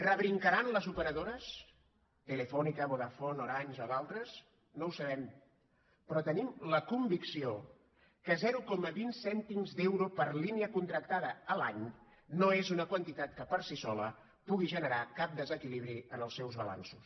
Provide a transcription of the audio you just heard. rebrincaran les operadores telefónica vodafone orange o d’altres no ho sabem però tenim la convicció que zero coma vint cèntims d’euro per línia contractada l’any no és una quantitat que per si sola pugui generar cap desequilibri en els seus balanços